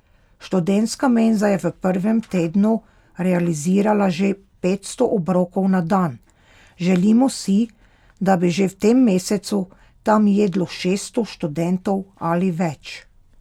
Študentska menza je v prvem tednu realizirala že petsto obrokov na dan, želimo si, da bi že v tem mesecu tam jedlo šeststo študentov ali več.